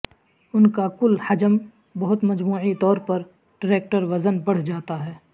ان کا کل حجم بہت مجموعی طور پر ٹریکٹر وزن بڑھ جاتا ہے